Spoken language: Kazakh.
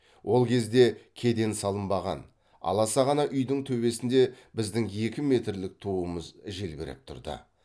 ол кезде кеден салынбаған аласа ғана үйдің төбесінде біздің екі метрлік туымыз желбіреп тұрды